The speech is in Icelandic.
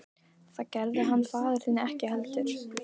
Það gerði hann faðir þinn ekki heldur.